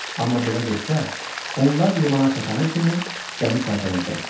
Amma belə getsə, onlar limana çatana kimi gəmi tərpənəcəkdi.